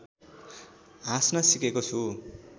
हाँस्न सिकेको छु